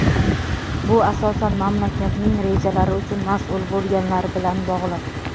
bu asosan mamlakatning rejalari uchun mas’ul bo‘lganlar bilan bog‘liq,.